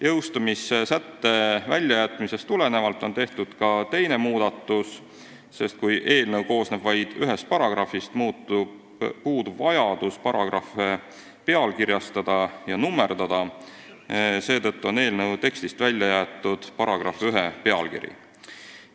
Jõustumissätte väljajätmisest tulenevalt on tehtud ka teine muudatus, sest kui eelnõu koosneb vaid ühest paragrahvist, puudub vajadus paragrahve pealkirjastada ja nummerdada, mistõttu on eelnõu tekstist välja jäetud § 1 pealkiri.